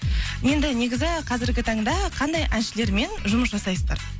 енді негізі қазіргі таңда қандай әншілермен жұмыс жасайсыздар